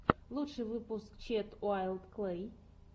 лучший выпуск чед уайлд клэй